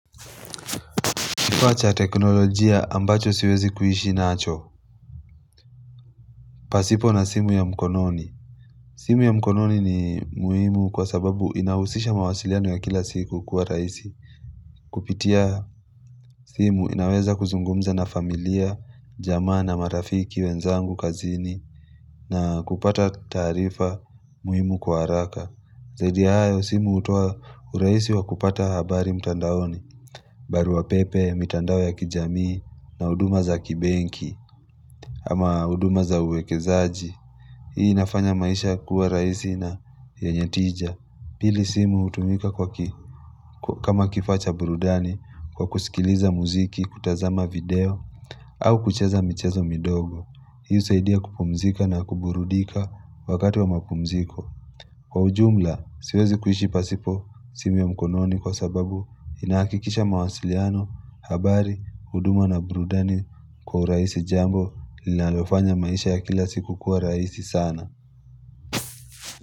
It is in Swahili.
Kifa cha teknolojia ambacho siwezi kuishi nacho. Pasipo na simu ya mkononi. Simu ya mkononi ni muhimu kwa sababu inahusisha mawasiliano ya kila siku kuwa raisi. Kupitia simu inaweza kuzungumza na familia, jamaa na marafiki, wenzangu, kazini na kupata taarifa muhimu kwa haraka. Zaidi ya hayo simu hutoa urahisi wa kupata habari mtandaoni, barua pepe, mitandao ya kijamii na huduma za kibenki. Ama huduma za uwekezaji Hii inafanya maisha kuwa raisi na yenye tija Pili simu hutumika kama kifaa cha burudani Kwa kusikiliza muziki kutazama video au kucheza michezo midogo, hii husaidia kupumzika na kuburudika wakati wa mapumziko Kwa ujumla, siwezi kuishi pasipo simu ya mkononi Kwa sababu inahakikisha mawasiliano, habari, huduma na burudani kwa urahisi jambo linalofanya maisha ya kila siku kuwa raisi sana.